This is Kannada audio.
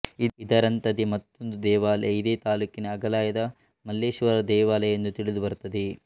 ಇದರಂಥದೆ ಮತ್ತೊಂದು ದೇವಾಲಯ ಇದೇ ತಾಲ್ಲೂಕಿನ ಅಘಲಯದ ಮಲ್ಲೇಶ್ವರ ದೇವಾಲಯ ಎಂದು ತಿಳಿದುಬರುತ್ತದೆ